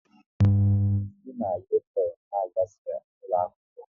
Si na u-turn n'agasia ụlọakwụkwọ